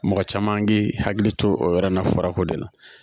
Mɔgɔ caman k'i hakili to o yɔrɔ in na farako de la